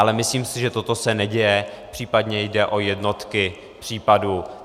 Ale myslím si, že toto se neděje, případně jde o jednotky případů.